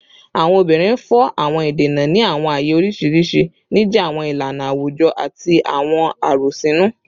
Awọn obinrin fọ awọn idena ni awọn aaye oriṣiriṣi, nija awọn ilana awujọ ati awọn arosinu